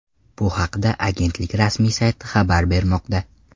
Bu haqda agentlik rasmiy sayti xabar bermoqda .